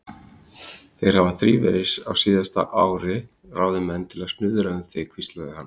Þeir hafa þrívegis á síðasta ári ráðið menn til að snuðra um þig hvíslaði hann.